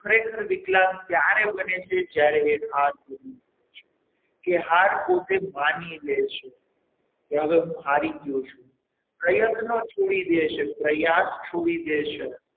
ખરેખર વિકલાંગ ત્યારે બને છે જ્યારે તે હાર માની જાય છે કે હાર પોતે માની લે છે કે હવે હું હારી ગયો છું પ્રયત્ન છોડી દે છે પ્રયાસ છોડી દે છે.